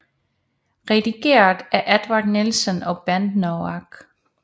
Redigeret af Eduard Nielsen og Bent Noack